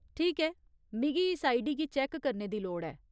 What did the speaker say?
ठीक ऐ, मिगी इस आईडी गी चैक्क करने दी लोड़ ऐ।